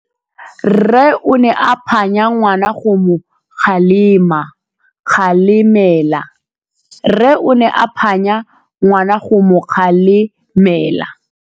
Rre o ne a phanya ngwana go mo galemela.